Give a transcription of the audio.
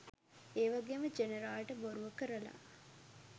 ඒවගේම ජෙනරාල්ට බොරුව කරලා